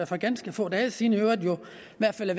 for ganske få dage siden valgte i hvert fald at